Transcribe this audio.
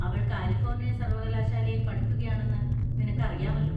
അവൾ കാലിഫോർണിയ സർവകലാശാലയിൽ പഠിക്കുകയാണെന്ന് നിനക്ക് അറിയാമല്ലോ.